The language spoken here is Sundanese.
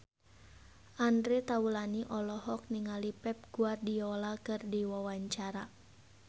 Andre Taulany olohok ningali Pep Guardiola keur diwawancara